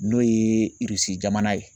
N'o ye Irisi jamana ye